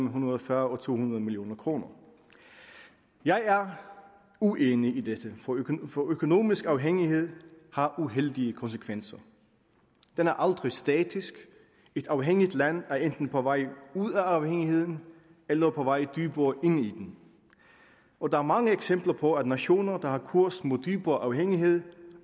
hundrede og fyrre og to hundrede million kroner jeg er uenig i dette for økonomisk afhængighed har uheldige konsekvenser den er aldrig statisk et afhængigt land er enten på vej ud af afhængigheden eller på vej dybere ind i den og der er mange eksempler på at nationer der har kurs mod dybere afhængighed